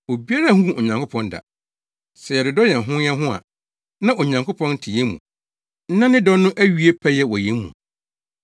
Obiara nhuu Onyankopɔn da. Sɛ yɛdodɔ yɛn ho yɛn ho a, na Onyankopɔn te yɛn mu na ne dɔ no awie pɛyɛ wɔ yɛn mu.